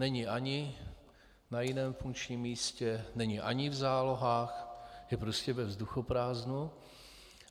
Není ani na jiném funkčním místě, není ani v zálohách, je prostě ve vzduchoprázdnu.